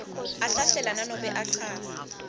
ahlahlela nanobe achaza